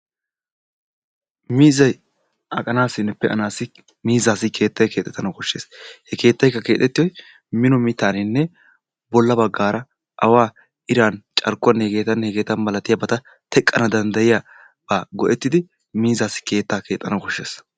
Miizzay aqanaassinne pe"anaassi miizzaassi keettay keexettana koshshees. He keettayikka keexettiyoy mino mittaaninne bolla baggaara awaa, iraa, carkkuwanne hegeettanne hegeeta milatiyabata teqqana dandayiyaba go"ettidi miizzaassi keettaa keexxana koshshees.